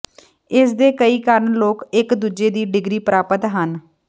ਇਸ ਦੇ ਕਈ ਕਾਰਨ ਲੋਕ ਇੱਕ ਦੂਜੀ ਦੀ ਡਿਗਰੀ ਪ੍ਰਾਪਤ ਹਨ